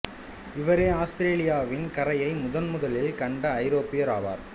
இவரே ஆஸ்திரேலியாவின் கரையை முதன் முதலில் கண்ட ஐரோப்பியர் ஆவார்